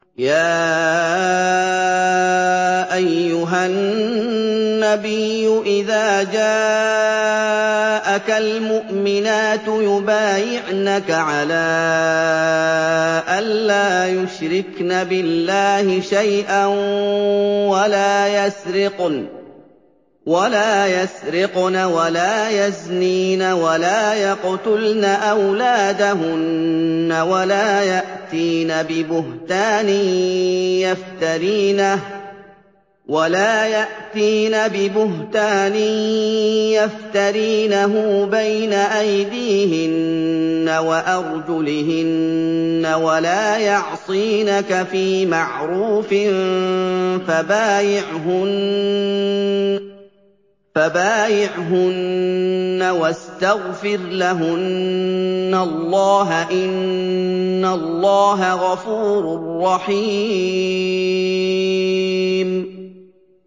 يَا أَيُّهَا النَّبِيُّ إِذَا جَاءَكَ الْمُؤْمِنَاتُ يُبَايِعْنَكَ عَلَىٰ أَن لَّا يُشْرِكْنَ بِاللَّهِ شَيْئًا وَلَا يَسْرِقْنَ وَلَا يَزْنِينَ وَلَا يَقْتُلْنَ أَوْلَادَهُنَّ وَلَا يَأْتِينَ بِبُهْتَانٍ يَفْتَرِينَهُ بَيْنَ أَيْدِيهِنَّ وَأَرْجُلِهِنَّ وَلَا يَعْصِينَكَ فِي مَعْرُوفٍ ۙ فَبَايِعْهُنَّ وَاسْتَغْفِرْ لَهُنَّ اللَّهَ ۖ إِنَّ اللَّهَ غَفُورٌ رَّحِيمٌ